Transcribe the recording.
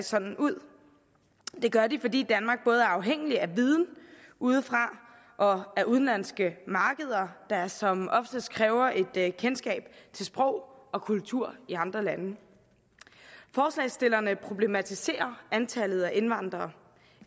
sådan ud det gør de fordi danmark både er afhængig af viden udefra og af udenlandske markeder der som oftest kræver et kendskab til sprog og kultur i andre lande forslagsstillerne problematiserer antallet af indvandrere